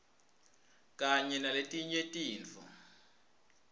kanye naletinye tintfo